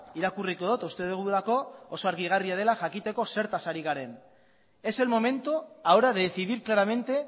irakurriko dut uste dugulako oso argigarria dela jakiteko zertaz ari garen es el momento ahora de decidir claramente